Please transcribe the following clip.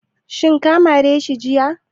Shin ka mare shi jiya?